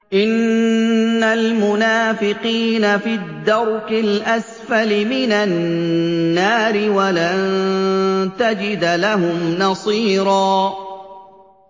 إِنَّ الْمُنَافِقِينَ فِي الدَّرْكِ الْأَسْفَلِ مِنَ النَّارِ وَلَن تَجِدَ لَهُمْ نَصِيرًا